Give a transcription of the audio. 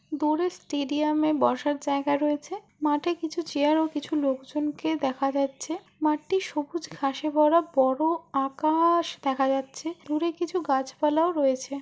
দূরে স্টেডিয়াম -এ বসার জায়গা রয়েছে। মাঠে কিছু চেয়ার ও কিছু লোকজনকে দেখা যাচ্ছে। মাঠটি সবুজ ঘাসে ভরা বড় আকা-আশ দেখা যাচ্ছে। দূরে কিছু গাছপালাও রয়েছে।